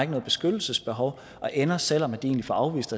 noget beskyttelsesbehov og ender selv om de egentlig får afvist